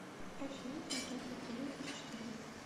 афина квадратный корень из четырех